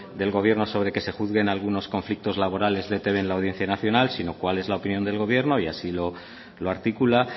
del gobierno sobre que se juzguen algunos conflictos laborales de e i te be en la audiencia nacional sino cuál es la opinión del gobierno y así lo articula